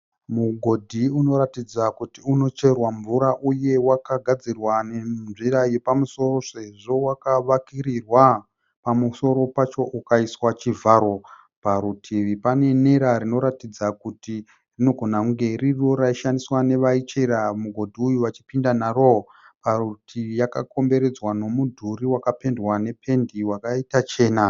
Mugodhi unoratidza kuti unocherwa mvura uye wakagadzirwa nenzira yepamusoro sezvo wakavakirirwa. Pamusoro pacho ukaiswa chivharo. Parutivi pane nera rinoratidza kuti rinogona kunge ririiro raishandiswa nevaichera mugodhi uyu vachipinda naro. Parutivi yakakomberedzwa nomudhuri wakapendwa nependi yakaita chena.